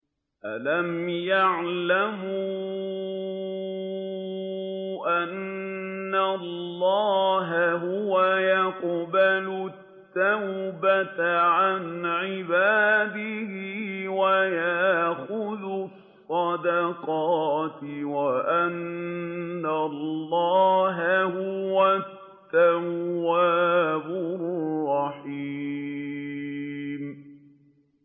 أَلَمْ يَعْلَمُوا أَنَّ اللَّهَ هُوَ يَقْبَلُ التَّوْبَةَ عَنْ عِبَادِهِ وَيَأْخُذُ الصَّدَقَاتِ وَأَنَّ اللَّهَ هُوَ التَّوَّابُ الرَّحِيمُ